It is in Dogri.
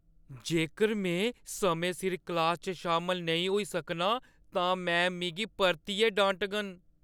जेकर में समें सिर क्लासा च शामल नेईं होई सकनां, तां मैम मिगी परतियै डांटङन।